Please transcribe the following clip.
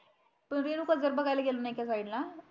तुम्ही लोक जर बघायला गेले ना एका साईड ला